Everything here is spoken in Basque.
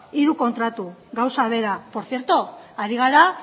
hiru kontratu gauza bera por cierto ari gara